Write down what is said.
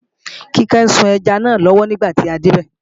Kíkẹ́ ń sun ẹja náà lọ́wọ́ nígbà tí a débẹ̀